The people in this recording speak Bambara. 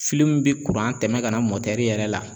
min bɛ kuran tɛmɛ ka na yɛrɛ la